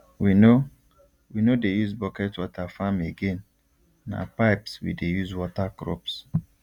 we no we no dey use bucket water farm again na pipes we dey use water crops